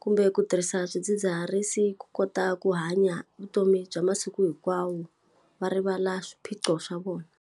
kumbe ku tirhisa swidzidziharisi ku kota ku hanya vutomi bya masiku hinkwawo va rivala swiphiqo swa vona.